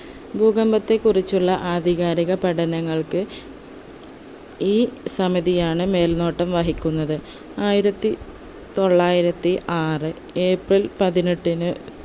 ഭൂകമ്പത്തെ കുറിച്ചുള്ള ആധികാരിക പഠനങ്ങൾക്ക് ഈ സമിതിയാണ് മേൽനോട്ടം വഹിക്കുന്നത് ആയിരത്തി തൊള്ളായിരത്തി ആറ് ഏപ്രിൽ പതിനെട്ടിന്